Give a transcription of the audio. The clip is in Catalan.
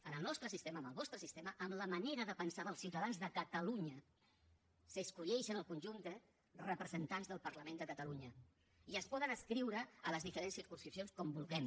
amb el nostre sistema amb el vostre sistema amb la manera de pensar dels ciutadans de catalunya s’escullen el conjunt de representants del parlament de catalunya i es poden adscriure a les diferents circumscripcions com vulguem